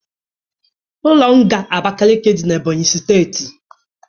Ụlọ nga Abakiliki dị n'Ebonyi steeti